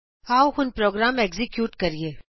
ਆਉ ਹੁਣ program execute ਕਰੀਏ